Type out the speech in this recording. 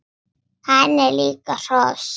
Hann er líka hross!